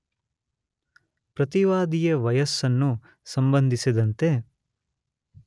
ಪ್ರತಿವಾದಿಯ ವಯಸ್ಸನ್ನು ಸಂಬಂಧಿಸಿದಂತೆ